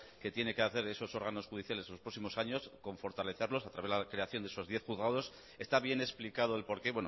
que tiene que hacer esos órganos judiciales en los próximos años con fortalecerlos a través de la creación de esos diez juzgados está bien explicado el por qué